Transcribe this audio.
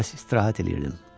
Biraz istirahət eləyirdim.